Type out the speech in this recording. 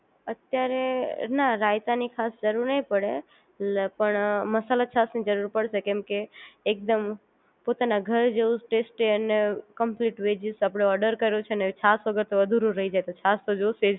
અત્યારે ના રાયતા ની ખાસ જરૂર નહિ પડે પણ મસાલા છાશ ની જરૂર પડશે કેમકે એકદમ પોતાના ઘર જેવું ટેસ્ટી અને કમ્પલીટ વેજીસ આપણે ઓર્ડર કર્યું છે ને છાશ વગર તો અધૂર જાય એટલે છાશ તો જોશે જ